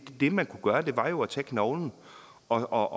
det man kunne gøre var jo at tage knoglen og